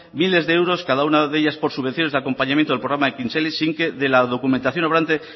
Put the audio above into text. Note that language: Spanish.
miles de euros cada una de ellas por subvenciones de acompañamiento del programa ekintzaile sin que de la documentación obrante